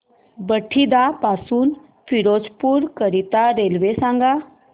बठिंडा पासून फिरोजपुर करीता रेल्वे सांगा